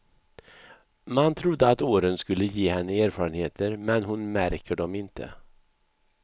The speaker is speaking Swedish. Man trodde att åren skulle ge henne erfarenheter, men hon märker dom inte.